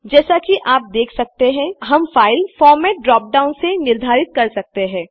जैसा की आप देख सकते हैं हम फाइल फॉर्मेट ड्रापडाउन से निर्धारित कर सकते हैं